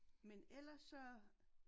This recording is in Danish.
Men ellers så